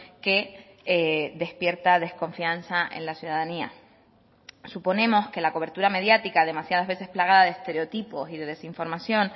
que despierta desconfianza en la ciudadanía suponemos que la cobertura mediática demasiadas veces plagada de estereotipos y de desinformación